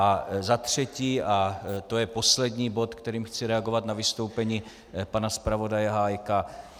A za třetí, a to je poslední bod, kterým chci reagovat na vystoupení pana zpravodaje Hájka.